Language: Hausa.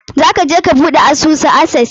Za ka je ka buɗe asusu a Access?